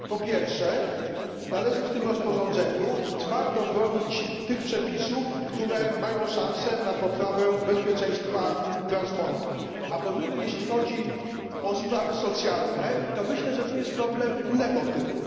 Po pierwsze, należy w nim twardo bronić tych przepisów, które mają szansę na poprawę bezpieczeństwa transportu, a po drugie, jeśli chodzi o sprawy socjalne, to myślę, że jest tu problem innego typu.